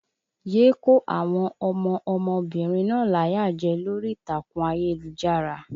Yé kó àwọn ọmọ ọmọbìnrin náà láyà jẹ lórí ìtàkùn ayélujára!